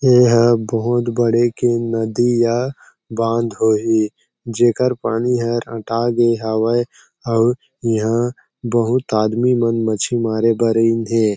ये हा बहुत बड़े के नदी या बांध होही जेकर पानी हर अटा गए हावय आऊ ये हा बहुत आदमी मन मच्छी मारे बर आइन हें।